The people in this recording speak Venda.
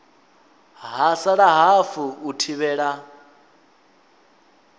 ha sala hafu u thivhela